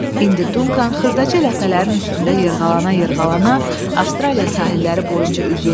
İndi Duncan xırdaca ləpələrin üstündə yırğalana-yırğalana Avstraliya sahilləri boyunca üzürdü.